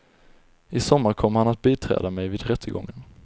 I sommar kommer han att biträda mig vid rättegången.